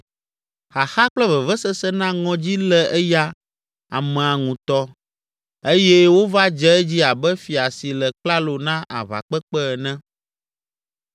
Xaxa kple vevesese na ŋɔdzi lé eya amea ŋutɔ eye wova dze edzi abe fia si le klalo na aʋakpekpe ene.